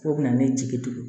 K'o bɛna ne jigi tugu